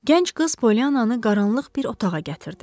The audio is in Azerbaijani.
Gənc qız Poliannanı qaranlıq bir otağa gətirdi.